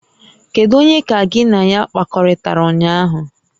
Kedu onye ka gị na ya kpakọrịtara ụnyaahụ?